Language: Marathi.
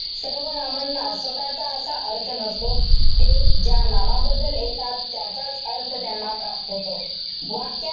सर्वनामांना स्वतःचा असा अर्थ नसतो. ते ज्या नामाबद्दल येतात, त्याचाच अर्थ त्यांना प्राप्त होतो. वाक्यात,